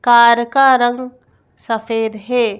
Car का रंग सफेद है।